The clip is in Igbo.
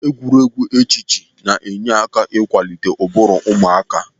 Egwuregwu echiche na-enye aka ikwalite ụbụrụ ụmụaka